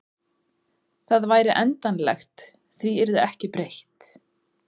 Það væri endanlegt, því yrði ekki breytt.